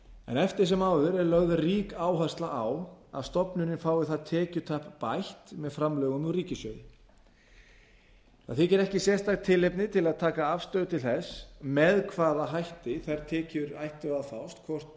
en eftir sem áður er lögð rík áhersla á að stofnunin fái það tekjutap bætt með framlögum úr ríkissjóði ekki þykir sérstakt tilefni til að taka afstöðu til þess með hvaða hætti þær tekjur ættu að fást hvort